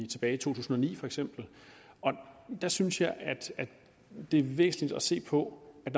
tilbage i to tusind og ni der synes jeg at det er væsentligt at se på at